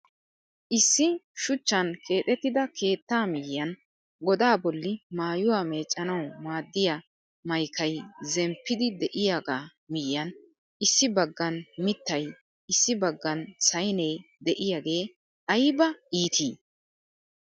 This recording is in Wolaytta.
Issi shuchchan keexettida keettaa miyiyan godaa bolli maayuwa meeccanawu maaddiya mayikay zemppidi de'iyaga miyiyan issi baggan mittay issi baggan sayine diyage ayiba iiti!